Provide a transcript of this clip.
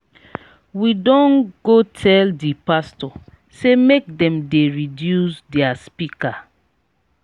we don go tell di pastor sey make dem dey reduce their speaker.